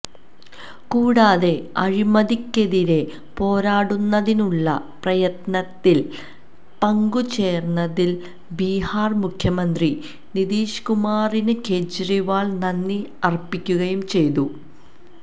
കൂടാതെ അഴിമതിക്കെതിരെ പോരാടുന്നതിനുള്ള പ്രയത്നത്തില് പങ്കു ചേര്ന്നതിന് ബീഹാര് മുഖ്യമന്ത്രി നിതീഷ് കുമാറിന് കേജ്രിവാള് നന്ദി അര്പ്പിക്കുകയും ചെയ്തു